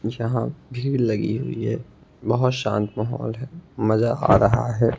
जहां भीड़ लगी हुई है बहोत शांत माहौल है मजा आ रहा है।